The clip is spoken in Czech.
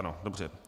Ano, dobře.